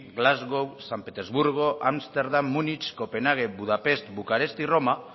glasgow san petersburgo ámsterdam múnich copenhague budapest bucarest y roma